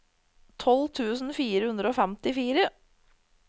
tolv tusen fire hundre og femtifire